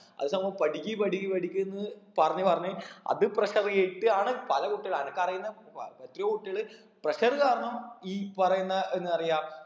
അത് സംഭവം പഠിക്ക് പഠിക്ക് പഠിക്കിന് പറഞ്ഞ് പറഞ്ഞ് അത് pressure കേറ്റിയാണ് പല കുട്ടികൾ അനക്ക് അറീന്ന എത്രയോ കുട്ടികൾ pressure കാരണം ഈ പറയുന്ന എന്താറയാ